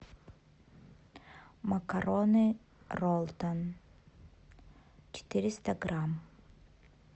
макароны роллтон четыреста грамм